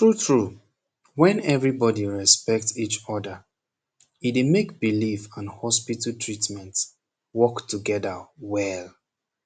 tru tru wen everi bodi respect each oda e dey make belief and hospital treatment work togeda well